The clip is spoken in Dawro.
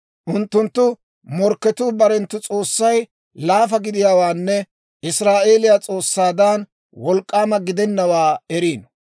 Unttunttu morkketuu barenttu s'oossay laafa gidiyaawaanne Israa'eeliyaa S'oossaadan Wolk'k'aama gidennawaa eriino.